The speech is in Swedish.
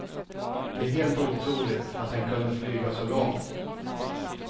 Det är helt otroligt att den kunde flyga så långt.